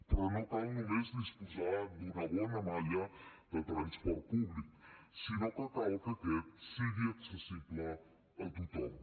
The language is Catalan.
però no cal només disposar d’una bona malla de transport públic sinó que cal que aquest sigui accessible a tothom